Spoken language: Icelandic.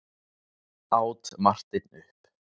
át Marteinn upp.